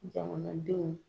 Jamanadenw